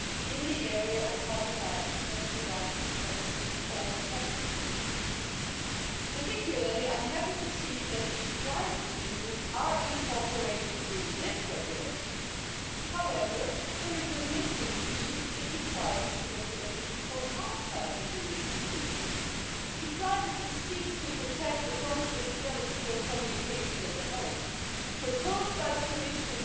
in the end a victory for the European Parliament, because for the first time we have ensured that the stand alone regimes cannot deviate from the principles of this regulation. The harmonised rules in the regulation will, furthermore, prevent data protection loopholes in the cooperation between the Union institutions, bodies, offices and agencies. Finally, I call on the Commission